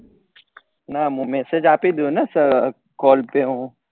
હા મુ message આપી ડદયું ને callcall પે હું